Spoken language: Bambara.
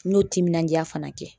N n'o timinanja fana kɛ.